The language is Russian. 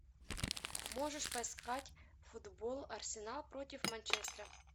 можешь поискать футбол арсенал против манчестера